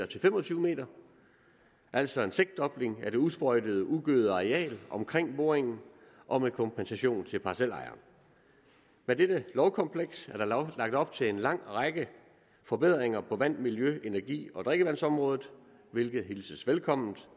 til fem og tyve m altså en seksdobling af det usprøjtede ugødede areal omkring boringen og med kompensation til parcelejeren med dette lovkompleks er der lagt op til en lang række forbedringer på vand miljø energi og drikkevandsområdet hvilket hilses velkommen